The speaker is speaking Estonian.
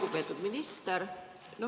Lugupeetud minister!